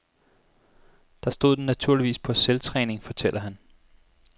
Der stod den naturligvis på selvtræning, fortæller han.